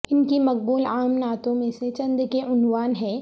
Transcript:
ان کی مقبول عام نعتوں میں سے چند کے عنوان ہیں